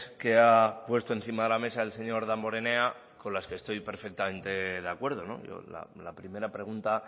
que ha puesto encima de la mesa el señor damborenea con las que estoy perfectamente de acuerdo la primera pregunta